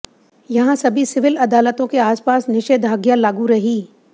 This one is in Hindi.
यहां सभी सिविल अदालतों के आसपास निषेधाज्ञा लागू रही